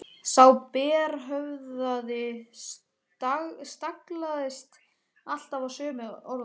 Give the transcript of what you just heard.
Sá berhöfðaði staglaðist alltaf á sömu orðunum